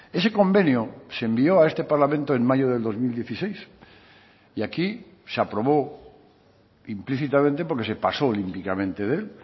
ese convenio se envió a este parlamento en mayo del dos mil dieciséis y aquí se aprobó implícitamente porque se pasó olímpicamente de él